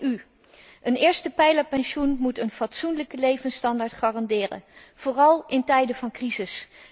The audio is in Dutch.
Een eerstepijlerpensioen moet een fatsoenlijke levensstandaard garanderen, vooral in tijden van crisis.